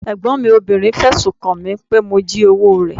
Ẹ̀gbọ́n mi obìnrin fẹ̀sùn kan mi pé mo jí owó rẹ̀.